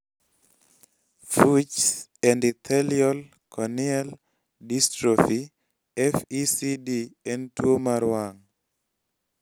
fuchs endothelial corneal dystrophy (FECD) en tuwo mar wang'